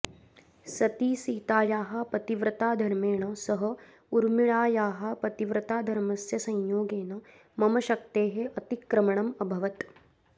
सतीसीतायाः पतिव्रताधर्मेण सह ऊर्मिळायाः पतिव्रताधर्मस्य संयोगेन मम शक्तेः अतिक्रमणम् अभवत्